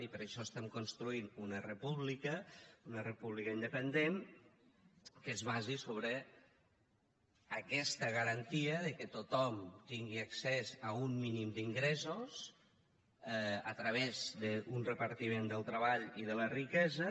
i per això construïm una república una república independent que es basi sobre aquesta garantia que tothom tingui accés a un mínim d’ingressos a través d’un repartiment del treball i de la riquesa